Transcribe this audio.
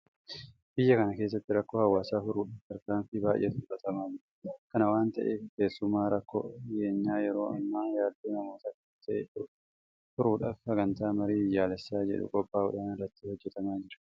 Biyya kana keessatti rakkoo hawaasaa furuudhaaf tarkaanfii baay'eetu fudhatamaa jira. Kana waanta ta'eef keessumaa rakkoo nageenyaa yeroo ammaa yaaddoo namoota hedduu ta'e furuudhaaf sagantaan marii biyyoolessaa jedhu qophaa'uudhaan irratti hojjetamaa jira.